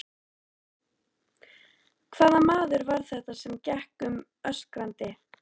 Hvaða maður var þetta sem gekk um öskrandi?